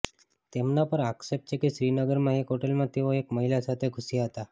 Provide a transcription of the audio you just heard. તેમના પર આક્ષેપ છે કે શ્રીનગરમાં એક હોટેલમાં તેઓ એક મહિલા સાથે ઘૂસ્યા હતા